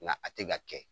Nka a tɛ ka kɛ